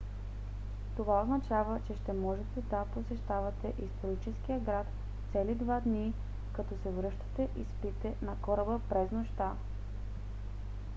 това означава че ще можете да посещавате историческия град цели два дни като се връщате и спите на кораба през нощта